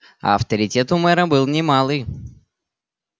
а авторитет у мэра был не малый